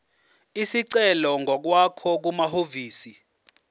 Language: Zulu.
isicelo ngokwakho kumahhovisi